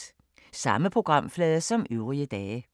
Samme programflade som øvrige dage